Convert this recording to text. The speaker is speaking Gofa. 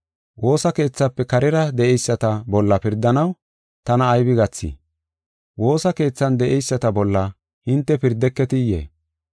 Woosa keethafe karera de7eyisata bolla pirdanaw tana aybe gathey? Woosa keethan de7eyisata bolla hinte pirdeketiyee?